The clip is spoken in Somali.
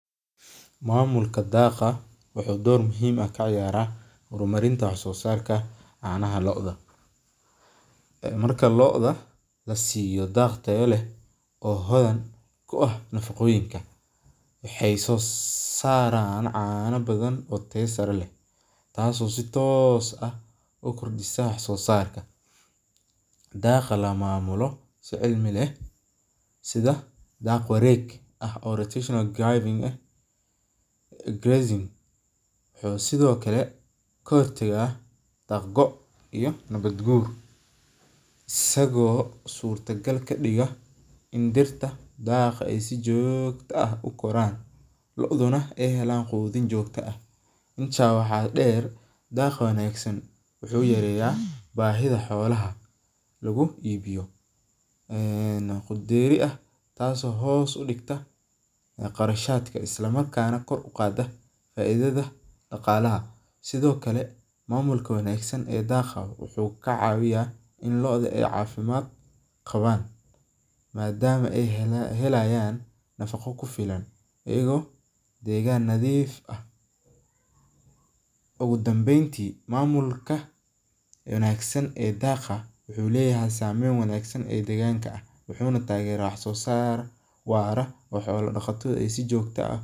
Mamulka daaqa wuxuu door muhiim ah kaciyaara wax soo saarka caanaha, waxeey soo saaran cana badan, oo si toos ah ukordisa wax soo saarka, daaq wareeg ah, wuxuu sido kale kahor tagaa daaq goo, in dirta daaqa aay si joogta ah ukoraan, wuxuu yareeya bahida xolaha, taas oo hoos udigta qarashadka, wuxuu kacawiya inaay cafimaad qabaan, mamulka wuxuu leyahay sameen wanagsan.